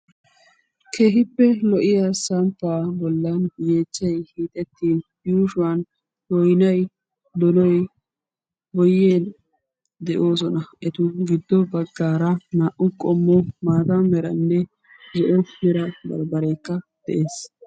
keehippe lo''iya samppaa bollan yeechchaiy hiixetti yuushuwan boynay donoy boyen de'oosona etu giddo baggaara naa''u qommo maata meranne zo'o mera barbbareekka de'ees